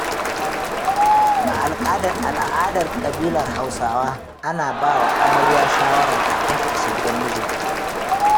A al'adar ƙabilar Hausawa, ana ba wa amarya shawara kafin ta isa gidan mijinta.